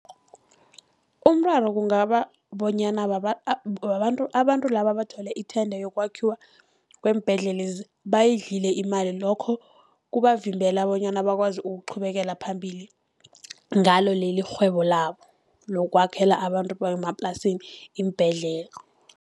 Umraro kungaba bonyana abantu laba abathole i-tender yokwakhiwa kweembhedlelezi, bayidlile imali. Lokho kubavimbela bonyana bakwazi ukuchubekela phambili ngalo leli irhwebo labo, lokwakhela abantu bemaplasini iimbhedlela.